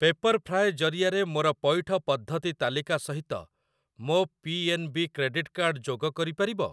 ପେପର୍‌ଫ୍ରାଏ ଜରିଆରେ ମୋର ପଇଠ ପଦ୍ଧତି ତାଲିକା ସହିତ ମୋ P N B credit card ଯୋଗ କରିପାରିବ?